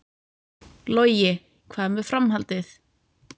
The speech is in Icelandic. Logi: Hvað með framhaldið?